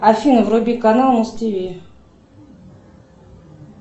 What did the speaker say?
афина вруби канал муз тв